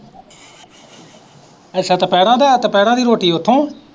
ਅੱਛਾ ਦੁਪਹਿਰਾਂ ਦਾ, ਦੁਪਹਿਰਾਂ ਦੀ ਰੋਟੀ ਉੱਥੋਂ